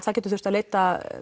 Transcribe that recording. það getur þurft að leita